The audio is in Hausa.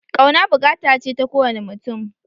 Ƙauna buƙata ce ta ko wane mutum